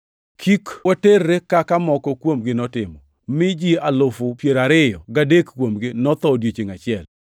Kik waterre kaka moko kuomgi notimo, mi ji alufu piero ariyo gadek kuomgi notho odiechiengʼ achiel.